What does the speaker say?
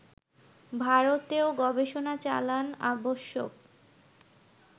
ভারতেও গবেষণা চালান আবশ্যক